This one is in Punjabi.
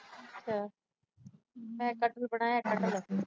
ਮੈਂ ਕਟਹਲ ਬਣਾਇਆ ਕਟਹਲ।